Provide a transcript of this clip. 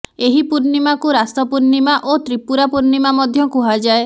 ଏହି ପୂର୍ଣ୍ଣିମାକୁ ରାସ ପୂର୍ଣ୍ଣିମା ଓ ତ୍ରିପୁରା ପୂର୍ଣ୍ଣିମା ମଧ୍ୟ କୁହାଯାଏ